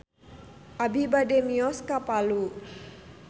Abi bade mios ka Palu